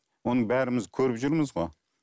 оны бәріміз көріп жүрміз ғой